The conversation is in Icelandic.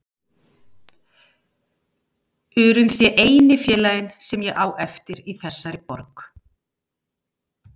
urinn sé eini félaginn sem ég á eftir í þessari borg.